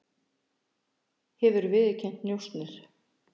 Hefur viðurkennt njósnir